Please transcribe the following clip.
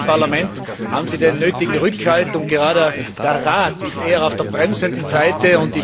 Im Parlament haben Sie den nötigen Rückhalt, und gerade der Rat ist eher auf der bremsenden Seite.